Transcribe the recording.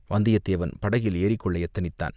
வந்தியத்தேவன் படகில் ஏறிக்கொள்ள யத்தனித்தான்.